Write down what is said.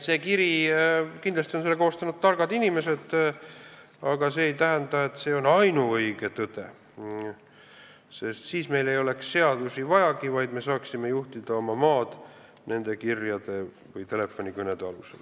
Selle kirja on kindlasti koostanud targad inimesed, aga see ei tähenda, et see on ainuõige tõde, sest siis meil ei oleks seadusi vajagi, vaid me saaksime juhtida oma maad kirjade või telefonikõnede alusel.